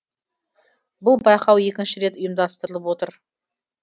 бұл байқау екінші рет ұйымдастырылып отыр